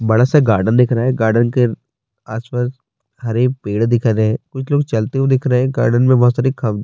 بڑا سا گردن دیکھ رہا ہے۔ گردن کے اس پاس ہرے پیڈ دیکھ رہے ہے۔ کچھ لوگ چلتے ہوئے دیکھ رہے ہے۔ گردن مے بھوت ساری کھمبے--